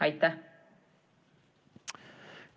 Aitäh!